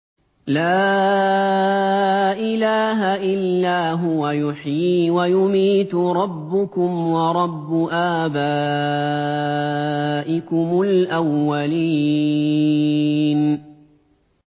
لَا إِلَٰهَ إِلَّا هُوَ يُحْيِي وَيُمِيتُ ۖ رَبُّكُمْ وَرَبُّ آبَائِكُمُ الْأَوَّلِينَ